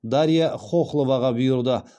дарья хохловаға бұйырды